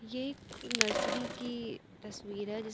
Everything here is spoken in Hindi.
ये एक नर्सरी की तस्वीर है जिस--